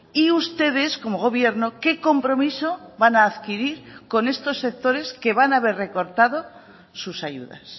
y ustedes como gobierno qué compromiso van a adquirir con estos sectores que van a ver recortados sus ayudas